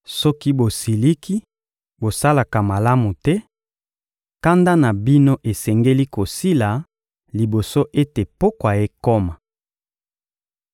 Soki bosiliki, bosalaka masumu te; kanda na bino esengeli kosila liboso ete pokwa ekoma.